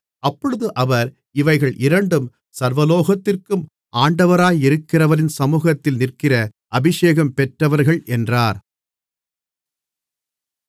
அப்பொழுது அவர் இவைகள் இரண்டும் சர்வலோகத்திற்கும் ஆண்டவராயிருக்கிறவரின் சமுகத்தில் நிற்கிற அபிஷேகம் பெற்றவர்கள் என்றார்